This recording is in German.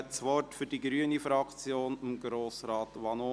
Ich gebe das Wort für die grüne Fraktion Grossrat Vanoni.